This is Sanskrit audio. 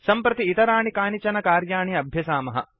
सम्प्रति इतराणि कानिचन कार्याणि अभ्यसामः